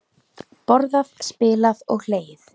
Borðað, spilað og hlegið.